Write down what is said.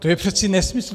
To je přeci nesmysl.